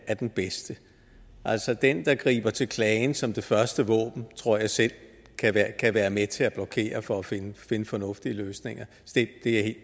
er den bedste altså den der griber til klagen som det første våben tror jeg selv kan være med til at blokere for at finde fornuftige løsninger det